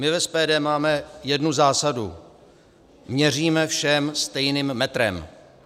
My v SPD máme jednu zásadu - měříme všem stejným metrem.